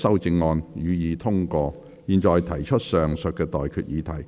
我現在向各位提出上述待決議題。